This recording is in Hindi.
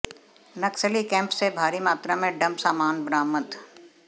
नक्सली कैम्प से भारी मात्रा में डंप सामान बरामद